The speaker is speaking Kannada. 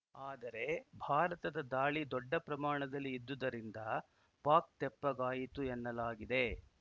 ಆದರೆ ಭಾರತದ ದಾಳಿ ದೊಡ್ಡ ಪ್ರಮಾಣದಲ್ಲಿ ಇದ್ದುದರಿಂದ ಪಾಕ್‌ ತೆಪ್ಪಗಾಯಿತು ಎನ್ನಲಾಗಿದೆ